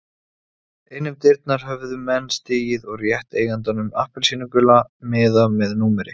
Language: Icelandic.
Inn um dyrnar höfðu menn stigið og rétt eigandanum appelsínugula miða með númeri.